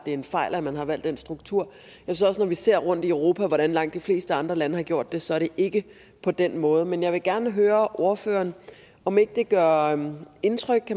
er en fejl at man har valgt den struktur når vi ser rundt i europa hvordan langt de fleste andre lande har gjort det så er det ikke på den måde men jeg vil gerne høre ordføreren om ikke det gør indtryk